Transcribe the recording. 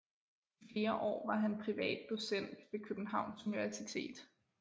I flere år var han privat docent ved Københavns Universitet